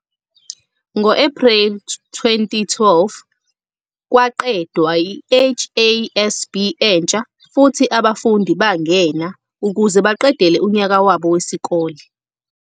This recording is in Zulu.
Ngo-April 2012 kwaqedwa i-HASB entsha futhi abafundi bangena ukuze baqedele unyaka wabo wesikole.